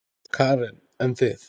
Karen: En þið?